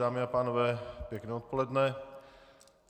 Dámy a pánové, pěkné odpoledne.